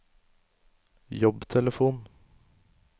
jobbtelefon